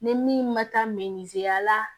Ni min ma taa ya la